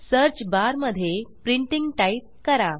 search bar मध्ये printing printing type करा